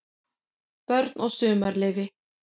BÖRN OG SUMARLEYFI